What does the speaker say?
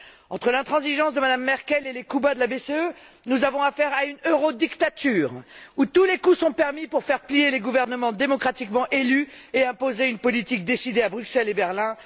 Entre l'intransigeance de Mme Merkel et les coups bas de la BCE, nous avons affaire à une eurodictature, où tous les coups sont permis pour faire plier les gouvernements démocratiquement élus et imposer une politique décidée à Bruxelles et à Berlin.